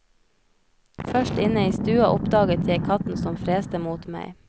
Først inne i stua oppdaget jeg katten som freste mot meg.